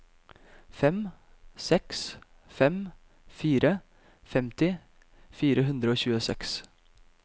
fem seks fem fire femti fire hundre og tjueseks